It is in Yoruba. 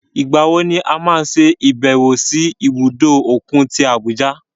Ìgbàwo ni a máa ṣe ìbẹ̀wò sí ibùdó òkun tí Abuja?